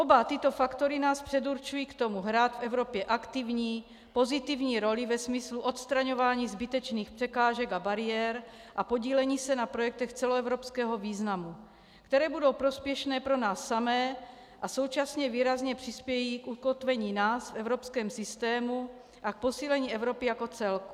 Oba tyto faktory nás předurčují k tomu, hrát v Evropě aktivní, pozitivní roli ve smyslu odstraňování zbytečných překážek a bariér a podílení se na projektech celoevropského významu, které budou prospěšné pro nás samé a současně výrazně přispějí k ukotvení nás v evropském systému a k posílení Evropy jako celku.